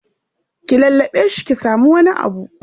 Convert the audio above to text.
Ki lallaɓe shi ki samu wani abu.